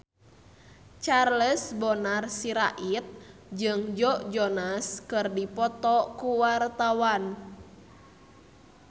Charles Bonar Sirait jeung Joe Jonas keur dipoto ku wartawan